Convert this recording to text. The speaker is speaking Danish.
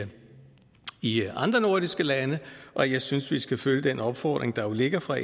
i andre nordiske lande og jeg synes at vi skal følge den opfordring der ligger fra